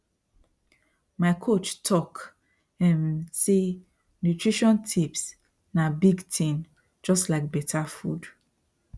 my coach talk um say nutrition tips na big thing just like better food